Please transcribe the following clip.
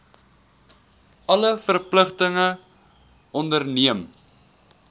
alle verpligtinge onderneem